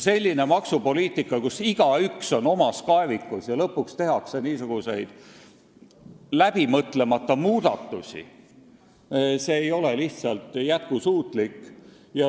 Selline maksupoliitika, kus igaüks on omas kaevikus ja lõpuks tehakse niisuguseid läbimõtlemata muudatusi, ei ole lihtsalt jätkusuutlik.